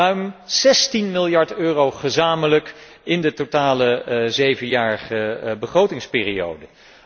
Ruim 16 miljard euro gezamenlijk in de totale zevenjarige begrotingsperiode.